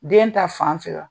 Den ta fan fɛ wa ?